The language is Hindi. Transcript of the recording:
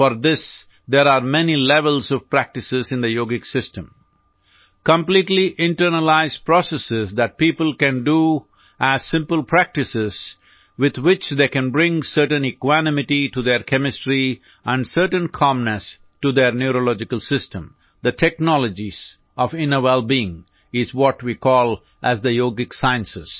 four this there are many levels of practice in the yogic system completely internalize process that people can do as simple practice with which they can bring certain equanimity to their chemistry and certain calmness to their neurological system the technologies of inner wellbeing are what we call as the yogic sciences